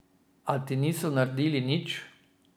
A ti niso naredili nič.